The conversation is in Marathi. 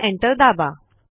आता एंटर दाबा